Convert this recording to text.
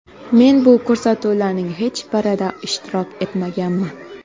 Men bu ko‘rsatuvlarning hech birida ishtirok etmaganman.